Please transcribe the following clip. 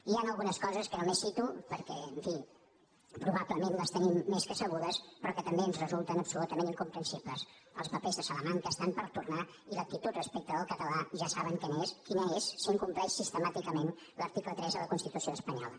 hi han algunes coses que només cito perquè en fi probablement les tenim més que sabudes però que també ens resulten absolutament incomprensibles els papers de salamanca estan per tornar i l’actitud respecte al català ja saben quina és s’incompleix sistemàticament l’article tres de la constitució espanyola